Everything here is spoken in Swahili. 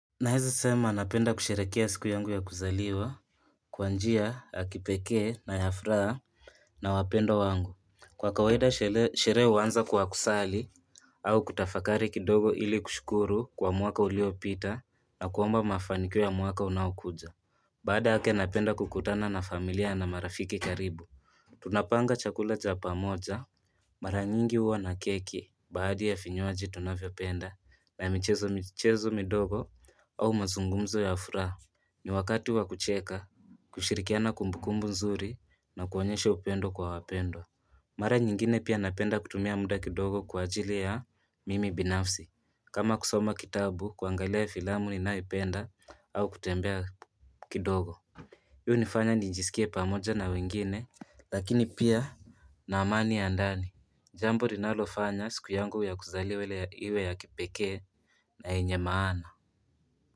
Naeza sema napenda kusherekea siku yangu ya kuzaliwa Kwa njia yakipekee na ya furaha na wapendwa wangu Kwa kawaida sherehe huanza kwa kusali au kutafakari kidogo ili kushukuru kwa mwaka ulio pita na kuomba mafanikiyo ya mwaka unaokuja Baada yake napenda kukutana na familia na marafiki karibu Tunapanga chakula cha pamoja Mara nyingi uwa na keki baadhi ya vinywaji tunavyo penda na michezo michezo midogo au mazungumzo ya fura. Ni wakati wa kucheka, kushirikiana kumbukumbu nzuri na kuonyeshe upendo kwa wapendwa. Mara nyingine pia napenda kutumia muda kidogo kwa ajili ya mimi binafsi. Kama kusoma kitabu kuangalia filamu ninayo penda au kutembea kidogo. Yu hunifanya nijisikie pamoja na wengine lakini pia na amani ya ndani. Jambo linalo fanya siku yangu ya kuzaliwa ile iwe ya kipekee na yenye maana.